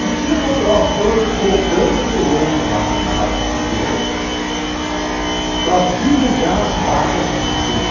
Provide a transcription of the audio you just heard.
Não tinha mão de obra, então colocamos o programa no ar, na Rádio Difusora, para divulgar as vagas existentes.